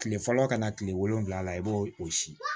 Kile fɔlɔ kana kile wolonwula la i b'o o si